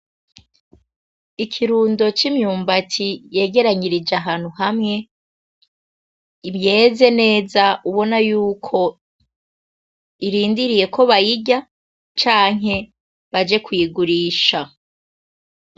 Ikirundo c'imyumbati ygeranyije ahantu hamwe yeze neza ubona yuko irindiriye ko bayirya canke baje kuyigurisha.